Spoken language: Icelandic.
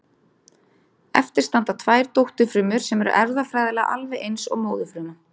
Eftir standa tvær dótturfrumur sem eru erfðafræðilega alveg eins og móðurfruman.